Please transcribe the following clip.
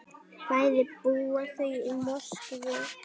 Bæði búa þau í Moskvu.